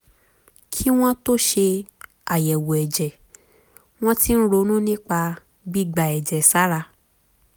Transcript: kí wọ́n tó ṣe àyẹ̀wò ẹ̀jẹ̀ wọ́n ti ń ronú nípa gbígba ẹ̀jẹ̀ sára